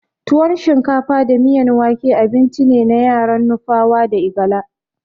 Tuwon shinkafa da miyan wake abincine na yaran nupawa da igala.